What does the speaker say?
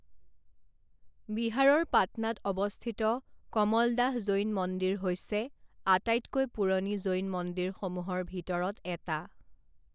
বিহাৰৰ পাটনাত অৱস্থিত কমলদাহ জৈন মন্দিৰ হৈছে আটাইতকৈ পুৰণি জৈন মন্দিৰসমূহৰ ভিতৰত এটা।